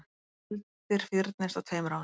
Skuldir fyrnist á tveimur árum